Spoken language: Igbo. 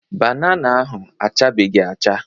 Banana ahụ achabeghị acha.